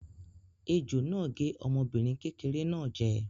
Ejò náà gé ọmọbìnrin kékeré náà jẹ.